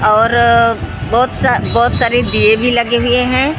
और बहुत सारे दिये भी लगे विए हैं ।